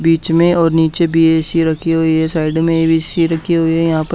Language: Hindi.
बीच में और नीचे भी ए_सी रखी हुई है साइड में भी ए_सी रखी हुई है यहां पर--